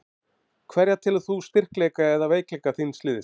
Hverja telur þú styrkleika og veikleika þíns liðs?